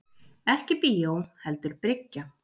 Ekki bíó heldur bryggja.